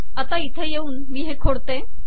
आता इथे येऊ मी हे खोडते